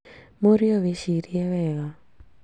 Mũriũ wĩcirie wega